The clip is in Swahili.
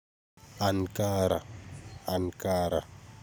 Ankara Ankara.